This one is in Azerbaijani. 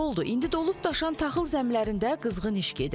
İndi dolub daşan taxıl zəmilərində qızğın iş gedir.